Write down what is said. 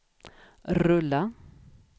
rulla